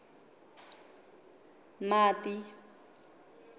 mati